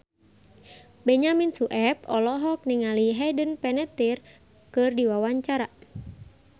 Benyamin Sueb olohok ningali Hayden Panettiere keur diwawancara